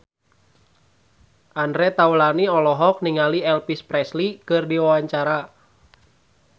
Andre Taulany olohok ningali Elvis Presley keur diwawancara